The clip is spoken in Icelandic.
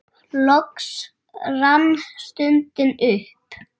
Loks rann stundin upp.